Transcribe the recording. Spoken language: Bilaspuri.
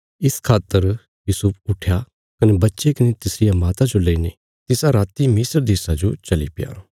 इस खातर यूसुफ उट्ठया कने बच्चे कने तिसरिया माता जो लेईने तिसा राति मिस्र देशा जो चलीप्या